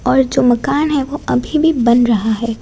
और जो मकान हैं वो अभी भी बन रहा हैं।